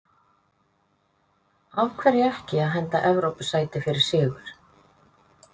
Af hverju ekki að henda Evrópusæti fyrir sigur?